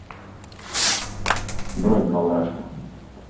бронь два барашка